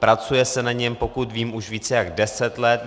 Pracuje se na něm, pokud vím, už více jak deset let.